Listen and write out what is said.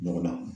Ɲɔgɔn na